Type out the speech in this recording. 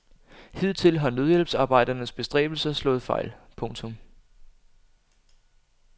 Hidtil har nødhjælpsarbejdernes bestræbelser slået fejl. punktum